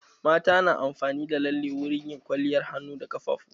Mata na amfani da lalle wurin yin kwaliyar hannu da ƙafafu.